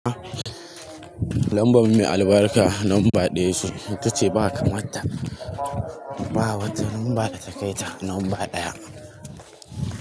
Lamba mai albarka lamba ɗaya ce, ita ce ba kamar ta. Ba wata lamba da ta kai ta lamba ɗaya.